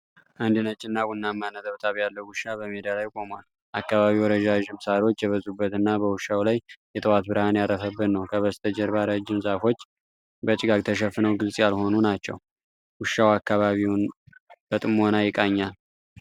አንድ ነጭና ቡናማ ነጠብጣብ ያለው ውሻ በሜዳ ላይ ቆሟል። አካባቢው ረዣዥም ሳሮች የበዙበትና በውሻው ላይ የጠዋት ብርሃን ያረፈበት ነው። ከበስተጀርባ ረጅም ዛፎች በጭጋግ ተሸፍነው ግልጽ ያልሆኑ ናቸው። ውሻው አካባቢውን በጥሞና ይቃኛል።